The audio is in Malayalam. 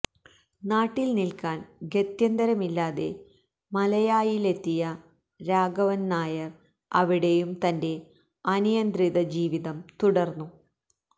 നാട്ടില് നില്ക്കാന് ഗത്യന്തരമില്ലാതെ മലയായിലെത്തിയ രാഘവന്നായര് അവിടെയും തന്റെ അനിയന്ത്രിത ജീവിതം തുര്ന്നു